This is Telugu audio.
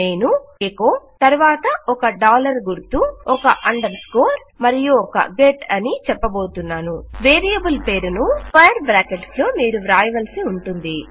నేను ఎకొ తరువాత ఒక డాలర్ గుర్తు ఒక అండర్ స్కోర్ మరియు ఒక గెట్ అని చెప్పబోతున్నాను వేరియబుల్ పేరును స్క్వేర్ బ్రాకెట్స్ లో మీరు వ్రాయవలసి ఉంటుంది